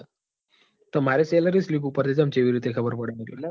માર salary slip ઉપર થી ચમ ચીવી રીતે ખબર પડે મતલબ